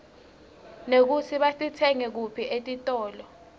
nekutsi batitsenga kuphi etitolo